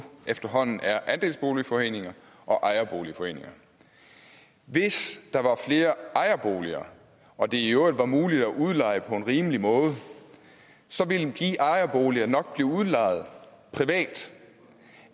efterhånden kun er andelsboligforeninger og ejerboligforeninger hvis der var flere ejerboliger og det i øvrigt var muligt at udleje på en rimelig måde så ville de ejerboliger nok blive udlejet privat